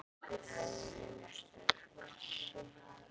Hefðin er sterk.